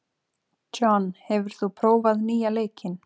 John, hefur þú prófað nýja leikinn?